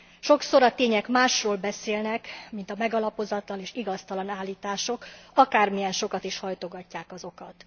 Sokszor a tények másról beszélnek, mint a megalapozatlan és igaztalan állítások, akármilyen sokat is hajtogatják azokat.